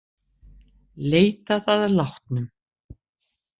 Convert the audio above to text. Leitað að látnum